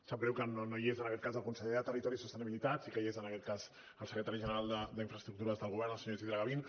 sap greu que no hi és en aquest cas el conseller de territori i sostenibilitat sí que hi és el secretari general d’infraestructures del govern el senyor isidre gavín